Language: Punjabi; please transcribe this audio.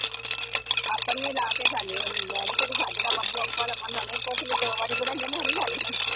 ਆਪਣੀਆਂ ਲਾ ਕੇ ਹੀ ਖਾਣੀ ਹੁੰਦੀ। ਮੈਂ ਨੀ ਕਦੇ ਖਾਦੀਆਂ ਬੱਬੂ ਅਮਨ ਨੂੰ ਹੀ ਪੁੱਛ ਲਈ ਦੋ ਵਾਰੀ ਬਣਾਈਆਂ ਮੈਂ ਨੀ ਖਾਦੀਆਂ।